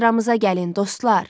Sıramıza gəlin, dostlar!